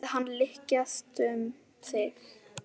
Fundið hann lykjast um sig.